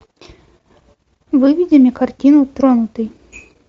выведи мне картину тронутый